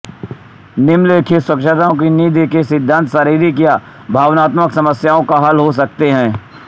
निम्नलिखित स्वास्थ्यकर नींद के सिद्धांत शारीरिक या भावनात्मक समस्याओं का हल हो सकते हैं